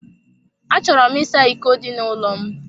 A chọrọ m ịsa iko dị n'ụlọ m.